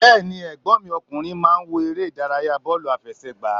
Bẹ́ẹ̀ni ẹ̀gbọ́n mi ọkùnrin máa ń wo eré Ìdárayá bóòlù àfẹsẹ̀gbá